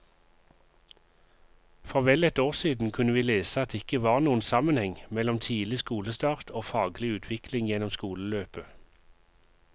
For vel et år siden kunne vi lese at det ikke var noen sammenheng mellom tidlig skolestart og faglig utvikling gjennom skoleløpet.